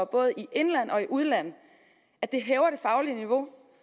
både i indland og i udland at det hæver det faglige niveau